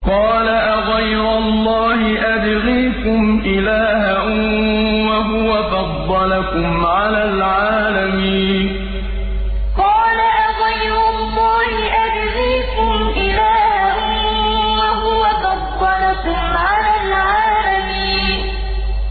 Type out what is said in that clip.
قَالَ أَغَيْرَ اللَّهِ أَبْغِيكُمْ إِلَٰهًا وَهُوَ فَضَّلَكُمْ عَلَى الْعَالَمِينَ قَالَ أَغَيْرَ اللَّهِ أَبْغِيكُمْ إِلَٰهًا وَهُوَ فَضَّلَكُمْ عَلَى الْعَالَمِينَ